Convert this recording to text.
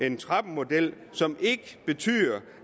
en trappemodel som ikke betyder